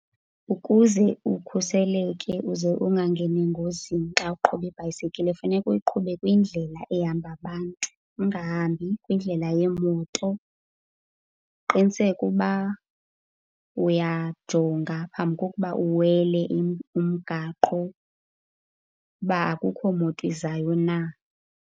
Ukuze ukhuseleke uze ungangeni engozini xa uqhuba ibhayisekile, kufuneka uyiqhube kwindlela ehamba abantu, ungahambi kwindlela yeemoto. Uqiniseke uba uyajonga phambi kokuba uwele umgaqo uba akukho moto izayo na.